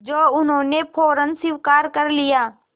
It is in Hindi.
जो उन्होंने फ़ौरन स्वीकार कर लिया